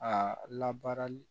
A labaarali